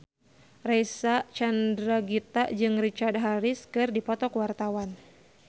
Reysa Chandragitta jeung Richard Harris keur dipoto ku wartawan